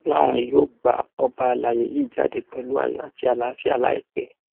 ó láwọn yóò gba ọba àlàyé yìí jáde pẹlú ayọ àti àlàáfíà láìpẹ